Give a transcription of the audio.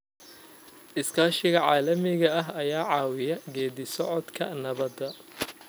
Iskaashiga caalamiga ah ayaa ka caawiyay geeddi-socodka nabadda.